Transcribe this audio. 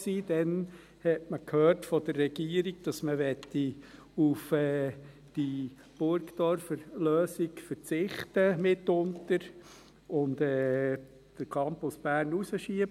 Damals hat man von der Regierung gehört, dass man mitunter auf die Burgdorfer Lösung verzichten und den Campus Bern hinausschieben möchte.